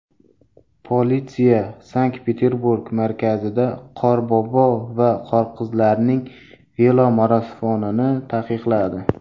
Politsiya Sankt-Peterburg markazida Qorbobo va Qorqizlarning velomarafonini taqiqladi.